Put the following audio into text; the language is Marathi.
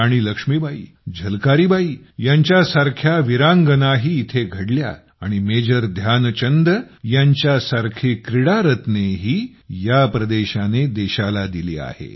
राणी लक्ष्मीबाई झलकारीबाई यांसारख्या विरांगनाही येथे घडल्या आणि मेजर ध्यानचंद यांच्यासारखी क्रीडारत्नेही या प्रदेशाने देशाला दिली आहेत